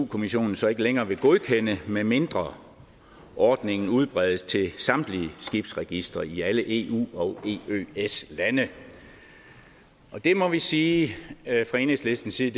kommissionen så ikke længere vil godkende medmindre ordningen udbredes til samtlige skibsregistre i alle eu og eøs landene der må vi sige fra enhedslistens side